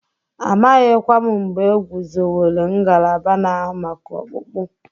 Amaghịkwa m mgbe egwuzowere ngalaba na-ahụ maka ọkpụkpụ.